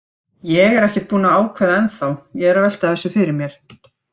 Ég er ekkert búinn að ákveða ennþá, ég er að velta þessu fyrir mér.